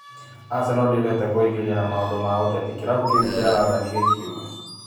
" Aseno ĩtagĩkundi ndĩendete kwĩingĩria na maũndũ ma ũteti", kĩrabu kĩu kĩa Randani gĩkiuga.